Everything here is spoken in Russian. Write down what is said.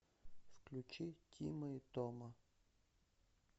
включи тима и тома